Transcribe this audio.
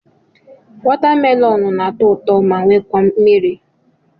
Watamelonụ na-atọ ụtọ ma wekwa mmiri.